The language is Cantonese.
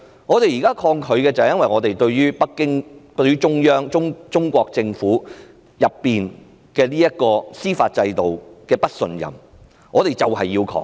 我們現在抗拒的原因是我們對北京、中央和中國政府的司法制度不信任，於是要抗拒。